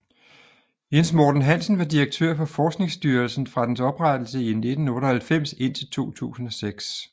Jens Morten Hansen var direktør for Forskningsstyrelsen fra dens oprettelse i 1998 indtil 2006